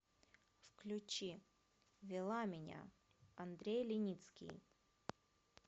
включи вела меня андрей леницкий